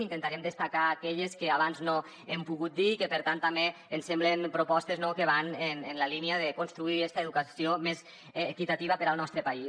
intentarem destacar aquelles que abans no hem pogut dir i que per tant també ens semblen propostes no que van en la línia de construir esta educació més equitativa per al nostre país